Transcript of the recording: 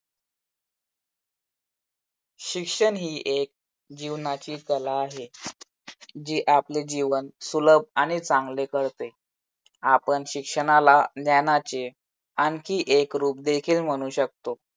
शिक्षण ही एक जीवनाची कला आहे. जी आपले जीवन सुलभ आणि चांगले करते. आपण शिक्षणाला ज्ञानाचे आणखी एक रूप देखील म्हणू शकतो.